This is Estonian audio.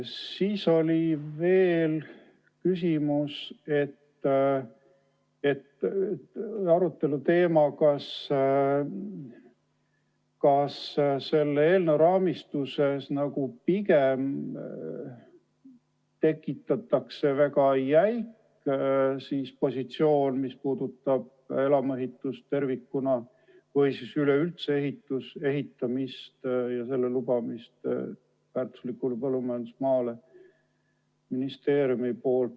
Siis oli veel arutelu teema, kas selle eelnõu raamistuses pigem tekitatakse väga jäik positsioon, mis puudutab elamuehitust tervikuna või üleüldse ministeeriumi poolt ehitamist ja selle lubamist väärtuslikule põllumajandusmaale.